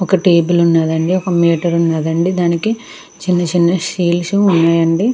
ఒక టేబుల్ ఉన్నది అండి ఒక మీటర్ ఉన్నది అండి దాని మీద చిన్న చిన్న షీల్డ్స్ --